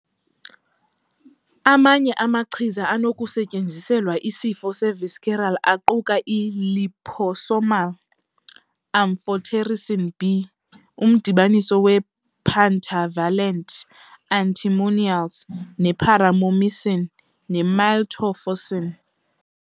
Amanye amachiza anokusetyenziselwa isifo se-visceral aquka i- liposomal amphotericin B, umdibaniso we- pentavalent antimonials ne- paromomycin, ne-miltefosine.